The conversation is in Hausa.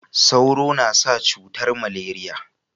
Sauro na sa cutar maleriya